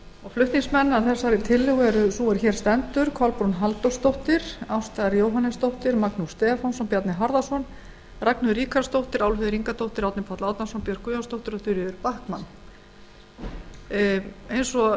flutningsmenn að þessari tillögu eru sú er hér stendur og háttvirtir þingmenn kolbrún halldórsdóttir ásta r jóhannesdóttir magnús stefánsson bjarni harðarson ragnheiður ríkharðsdóttir álfheiður ingadóttir árni páll árnason björk guðjónsdóttir og þuríður backman eins og